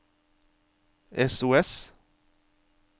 sos